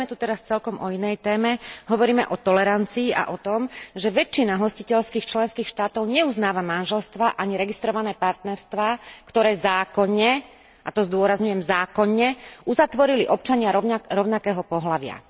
Hovoríme tu teraz celkom o inej téme, hovoríme o tolerancii a o tom, že väčšina hostiteľských členských štátov neuznáva manželstvá ani registrované partnerstvá, ktoré zákonne, a to zdôrazňujem, zákonne uzatvorili občania rovnakého pohlavia.